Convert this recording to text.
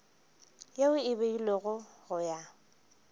yeo e beilwego go ya